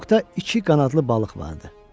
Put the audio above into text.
Qovuqda iki qanadlı balıq vardı.